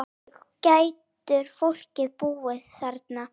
Hvernig getur fólk búið þarna?